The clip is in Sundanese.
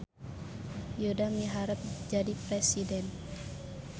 Yuda miharep jadi presiden